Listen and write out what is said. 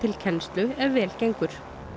kennslu ef vel gengur